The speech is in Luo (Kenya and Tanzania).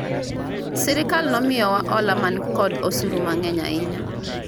sirikal ne omiyo wa hola man kod osuru mang'eny ahinya